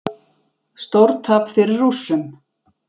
Stórtap fyrir Rússum